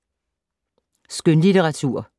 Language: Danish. Skønlitteratur